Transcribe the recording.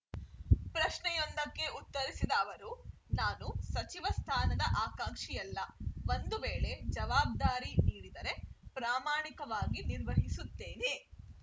ಪ್ರಶ್ನೆಯೊಂದಕ್ಕೆ ಉತ್ತರಿಸಿದ ಅವರು ನಾನು ಸಚಿವ ಸ್ಥಾನದ ಆಕಾಂಕ್ಷಿಯಲ್ಲ ಒಂದು ವೇಳೆ ಜವಾಬ್ದಾರಿ ನೀಡಿದರೆ ಪ್ರಾಮಾಣಿಕವಾಗಿ ನಿರ್ವಹಿಸುತ್ತೇನೆ